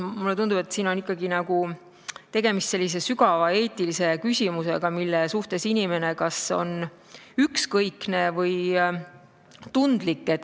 Mulle tundub, et siin on tegemist sügavalt eetilise küsimusega, mille suhtes inimene kas on ükskõikne või tundlik.